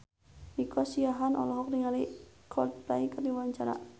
Nico Siahaan olohok ningali Coldplay keur diwawancara